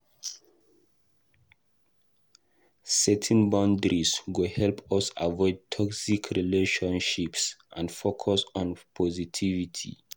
Setting boundaries go help us avoid toxic relationships and focus on positivity.